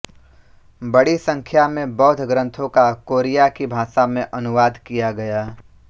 बड़ी संख्या में बौद्ध ग्रंथों का कोरिया की भाषा में अनुवाद किया गया